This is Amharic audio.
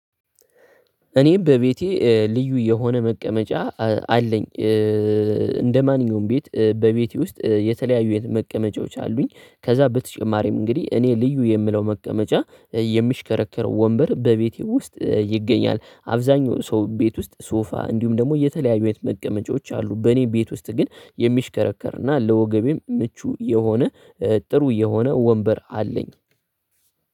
እኔ በቤቴ ልዩ የሆነ መቀመጫ አለኝ። እንደማንኛውም ቤት በቤቴ ውስጥ የተለያዩ የት መቀመጫዎች አሉኝ ከዛ በተጨማሪም እንግዲህ እኔ ልዩ የምለው መቀመጫ የሚሽከረከረው ወንበር በቤቴ ውስጥ ይገኛል። አብዛኛው ሰው ቤት ውስጥ ሶፋ እንዲሁም ደግሞ የተለያዩ አይነት መቀመጫዎች አሉ። በእኔ ቤት ውስጥ ግን የሚሽከረከርና ለወገቤም ምቹ የሆነ ጥሩ የሆነ ወንበር አለኝ።